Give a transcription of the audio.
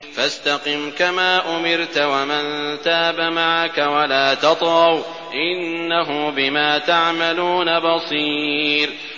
فَاسْتَقِمْ كَمَا أُمِرْتَ وَمَن تَابَ مَعَكَ وَلَا تَطْغَوْا ۚ إِنَّهُ بِمَا تَعْمَلُونَ بَصِيرٌ